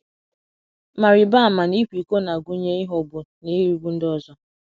Ma rịba ama na ịkwa iko na - agụnye “ ịghọgbu na irigbu ” ndị ọzọ.